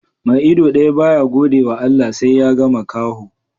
Mai ido daya ba ya gode wa Allah, sai ya ga makaho